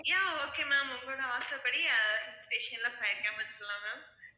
yeah okay ma'am உங்களோட ஆசைப்படி ah hill station ல fire camp வெச்சுக்கலாம் ma'am